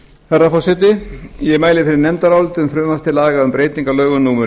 herra forseti ég mæli fyrir nefndaráliti um frumvarp til laga um breytingu á lögum númer